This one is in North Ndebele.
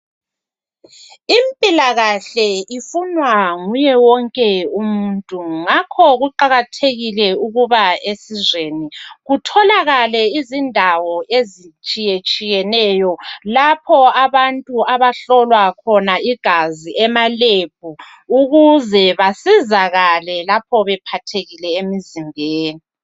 Impilakahle ifunwa nguye wonke umuntu ngakho kuqakathekile ukuba esizweni kutholakale izindawo ezitshiye tshiyeneyo lapho abantu abahlolwa khona igazi ema lab ukuze basizakale lapho bephathekile emizimbeni.